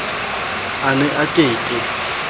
a ne a ke ke